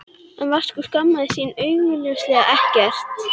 Svona leiðbeindi Ágústa jógakennari mér í sefandi tón.